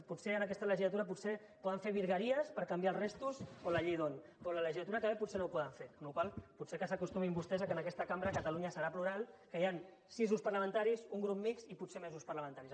potser en aquesta legislatura poden fer virgueries per canviar les restes o la llei d’hondt però a la legislatura que ve potser no ho poden fer amb la qual cosa potser que s’acostumin vostès que en aquesta cambra catalunya serà plural que hi han sis grups parlamentaris un grup mixt i potser més grups parlamentaris